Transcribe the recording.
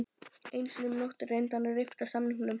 Einu sinni um nóttina reyndi hann að rifta samningnum.